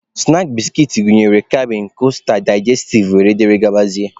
Snaakị biskit gụnyere kabịn, kosta, daijestiv wdg.